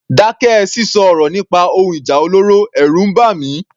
Dákẹ́ sísọ ọ̀rọ̀ nípa ohun ìjà olóró, ẹ̀rù ń bà mí.